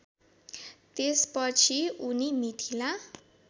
त्यसपछि उनी मिथिला